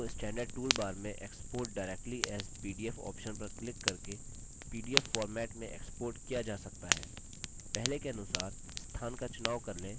document को standard tool bar में export directly as pdf option पर क्लिक करके pdf format में export किया जा सकता है